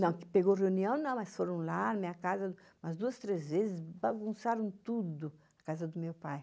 Não, pegou reunião não, mas foram lá na minha casa, umas duas, três vezes, bagunçaram tudo na casa do meu pai.